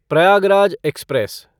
Prayagraj express